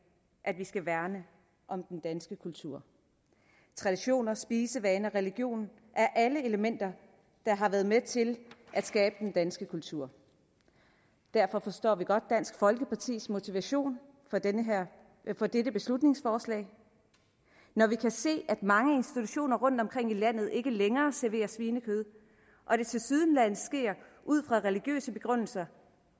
at vi skal værne om den danske kultur traditioner spisevaner og religion er alle elementer der har været med til at skabe den danske kultur derfor forstår vi godt dansk folkepartis motivation for dette beslutningsforslag når vi kan se at mange institutioner rundt omkring i landet ikke længere serverer svinekød og det tilsyneladende sker ud fra religiøse begrundelser